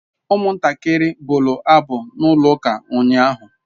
Umuntakiri bulu abu na ulo uka unyahu